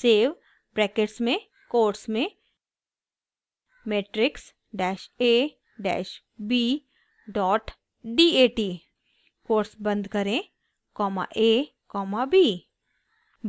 save brackets में quotes में matrix dash a dash b dot dat quotes बंद करें कॉमा a कॉमा b